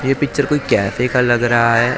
ये पिक्चर कोई कैफै का लग रहा है --